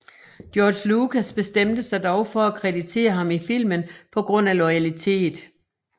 George Lucas bestemte sig dog for at kreditere ham i filmen på grund af loyalitet